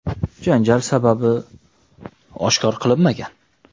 Janjal sababi oshkor qilinmagan.